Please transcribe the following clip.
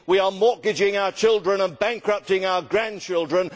We are mortgaging our children and bankrupting our grandchildren.